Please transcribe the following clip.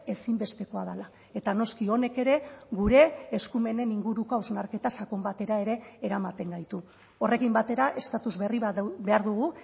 ezinbestekoa dela eta noski honek ere gure eskumenen inguruko hausnarketa sakon batera ere eramaten gaitu horrekin batera estatus berri bat behar dugu